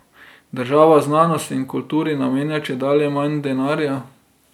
Država znanosti in kulturi namenja čedalje manj denarja.